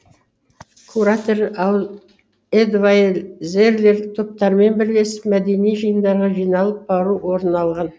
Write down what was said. куратор эдвайзерлер топтармен бірлесіп мәдени жиындарға жиналып бару орын алған